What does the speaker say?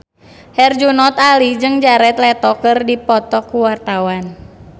Herjunot Ali jeung Jared Leto keur dipoto ku wartawan